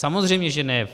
Samozřejmě že ne v